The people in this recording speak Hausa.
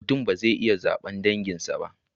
Mutum ba zai iya zabar danginsa ba